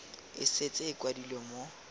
e setse e kwadilwe mo